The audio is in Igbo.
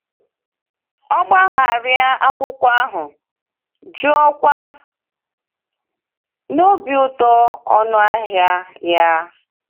O gbagharị akwụkwọ ahụ, jụọkwa n’obi ụtọ ọnụ ahịa ya.